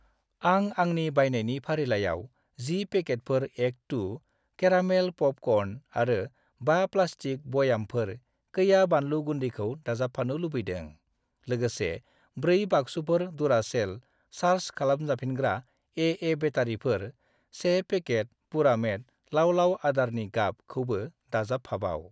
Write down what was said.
आं आंनि बायनायनि फारिलाइयाव 10 पेकेटफोर एक II केरामेल प'पकर्न आरो 5 प्लास्टिक बयामफोर कैया बानलु गुन्दैखौ दाजाबफानो लुबैदों। लोगोसे, 4 बाक्सुफोर डुरासेल सार्ज खालामफिनजाग्रा ए.ए. बेटारिफोर , 1 पेकेट पुरामेट लाव-लाव आदारनि गाब खौबो दाजाबफाबाव।